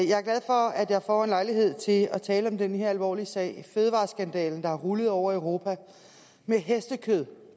jeg får lejlighed til at tale om den her alvorlige sag fødevareskandale der har rullet hen over europa med hestekød